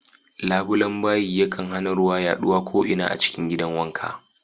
Labuben bayi yakan hana ruwa yaɗuwa ko'ina a cikin gidan wanka.